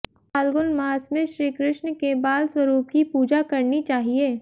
फाल्गुन मास में श्रीकृष्ण के बाल स्वरूप की पूजा करनी चाहिए